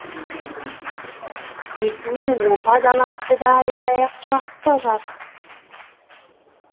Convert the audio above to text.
бетіне опа далапты да аямай ақ жағыпты жарықтық